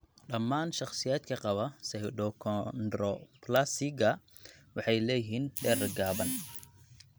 Dhammaan shakhsiyaadka qaba pseudoachondroplasiga waxay leeyihiin dherer gaaban.